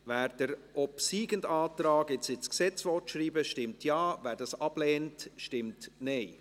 Wer den obsiegenden Antrag jetzt ins Gesetz schreiben will, stimmt Ja, wer das ablehnt, stimmt Nein.